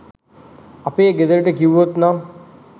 අපේ ගෙදරට කිව්වොත් නම්